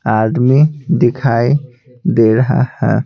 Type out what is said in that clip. आदमी दिखाई दे रहा है।